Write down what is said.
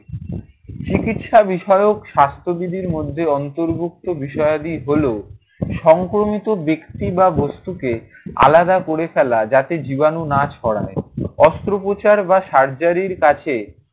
চিকিৎসা বিষয়ক স্বাস্থ্যবিধির মধ্যে অন্তর্ভুক্ত বিষয়াদি হলো সংক্রমিত ব্যক্তি বা বস্তুকে আলাদা করে ফেলা। যাতে জীবাণু না ছড়ায়। অস্ত্রোপচার বা surgery র কাছে